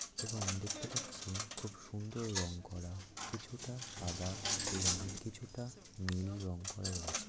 এবং দেখতে পাচ্ছি খুব সুন্দর রং করা। কিছুটা সাদা এবং কিছুটা নীল রং করা রয়েছে।